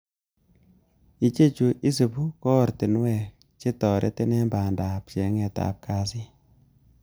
Ichechu isibu ko oratinwek, che toretin en bandab cheng'etab kasit.